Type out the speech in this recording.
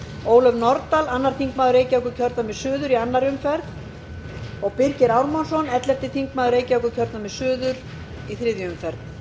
ólöf nordal annar þingmaður reykjavíkurkjördæmis suður í annarri umferð og birgir ármannsson ellefti þingmaður reykjavíkurkjördæmis suður í þriðju umferð